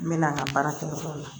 N mɛna n ka baara kɛ yɔrɔ la